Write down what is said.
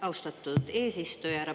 Austatud eesistuja!